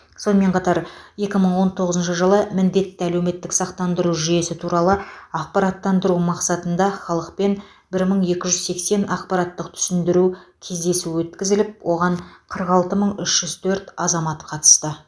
сонымен қатар екі мың он тоғызыншы жылы міндетті әлеуметтік сақтандыру жүйесі туралы ақпараттандыру мақсатында халықпен бір мың екі жүз сексен ақпараттық түсіндіру кездесуі өткізіліп оған қырық алты мың үш жүз төрт азамат қатысты